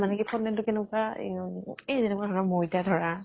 মানে কি ফন্দেন টো কেনেকুৱা এৰ এই যেনেকুৱা ধৰক মৈদা ধৰা